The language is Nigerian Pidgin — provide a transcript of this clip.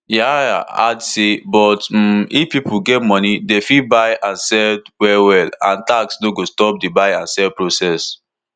yahaya add say but um if pipo get money dem fit dey buy and sell wellwell and tax no go stop di buy and sell process